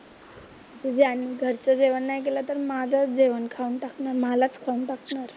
तुझे आणि घरचं जेवण नाही केलं तर माझंच जेवण खाऊन टाकणार, मलाच खाऊन टाकणार.